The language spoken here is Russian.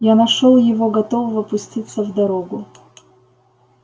я нашёл его готового пуститься в дорогу